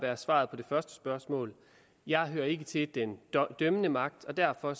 være svaret på det første spørgsmål jeg hører ikke til den dømmende magt og derfor